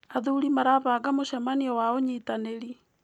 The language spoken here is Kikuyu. Athuri marabanga mũcemanio wa ũnyitanĩri.